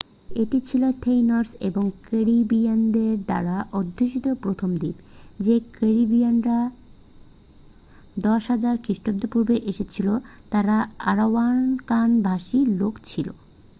এটি ছিল taínos এবং ক্যারিবীয়নদের দ্বারা অধ্যুষিত প্রথম দ্বীপ। যে ক্যারিবীয়রা 10,000 খ্রিস্টপূর্বাব্দে এসেছিল তারা আরাওয়াকান-ভাষী লোক ছিল।